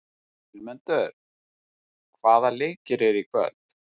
Vilmundur, hvaða leikir eru í kvöld?